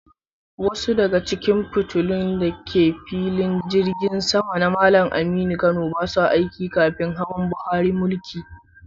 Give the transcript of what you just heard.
Wasu daga cikin fitilun da ke filin Jirgin Sama na Malam Aminu Kano ba sa aiki kafin hawan Buhari mulki.